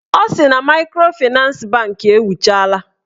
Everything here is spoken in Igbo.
Ọ sị na maịkrofịnans bankị ewuchala